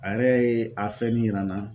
A yɛrɛ ye a fɛn min yira na